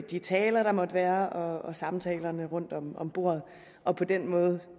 de taler der måtte være og samtalerne rundt om om bordet og på den måde